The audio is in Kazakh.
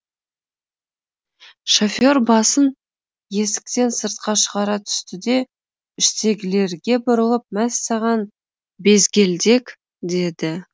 шофер басын есіктен сыртқа шығара түсті де іштегілерге бұрылып мәссаған безгелдек деді